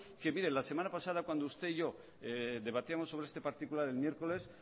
que mire la semana pasada cuando usted y yo debatíamos sobre este particular el miércoles